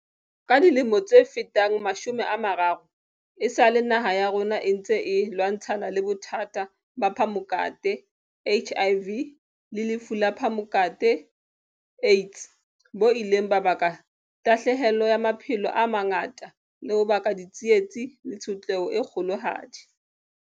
Ka dilemo tse fetang mashome a mararo, esale naha ya rona e ntse e lwantshana le bothata ba phamokate HIV le lefu la phamokate AIDS, bo ileng ba baka tahlahelo ya maphelo a mangata le ho baka ditsietsi le tshotleho e kgolohadi.